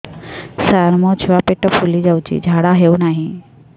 ସାର ମୋ ଛୁଆ ପେଟ ଫୁଲି ଯାଉଛି ଝାଡ଼ା ହେଉନାହିଁ